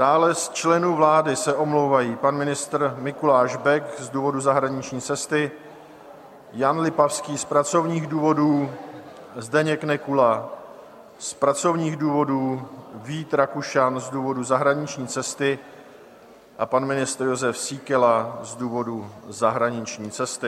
Dále z členů vlády se omlouvají: pan ministr Mikuláš Bek z důvodu zahraniční cesty, Jan Lipavský z pracovních důvodů, Zdeněk Nekula z pracovních důvodů, Vít Rakušan z důvodu zahraniční cesty a pan ministr Jozef Síkela z důvodu zahraniční cesty.